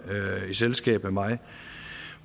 i selskab med mig